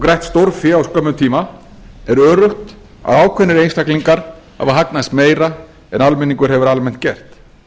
grætt stórfé á skömmum tíma er öruggt að ákveðnir einstaklingar hafa hagnast meira en almenningur hefur almennt gert